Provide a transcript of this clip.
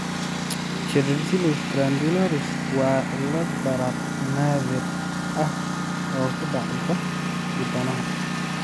Cheilitis glandularis waa cillad barar naadir ah oo ku dhacda dibnaha.